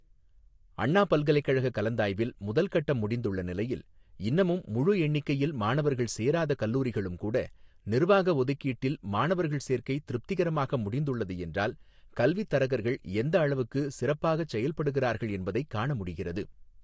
அண்ணா பல்கலைக்கழக கலந்தாய்வில் முதல் கட்டம் முடிந்துள்ள நிலையில் இன்னமும் முழு எண்ணிக்கையில் மாணவர்கள் சேராத கல்லூரிகளும்கூட நிர்வாக ஒதுக்கீட்டில் மாணவர்கள் சேர்க்கை திருப்திகரமாக முடிந்துள்ளது என்றால் கல்வித் தரகர்கள் எந்த அளவுக்கு சிறப்பாகச் செயல்படுகிறார்கள் என்பதைக் காண முடிகிறது.